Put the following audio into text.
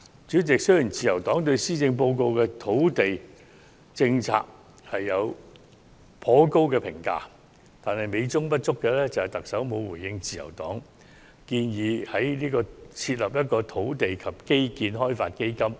主席，雖然自由黨對施政報告提出的土地政策評價頗高，但美中不足的是，特首並沒有回應自由黨提出設立土地及基建開發基金的建議。